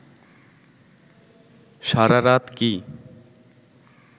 সারা রাত কি